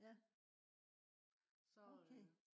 ja okay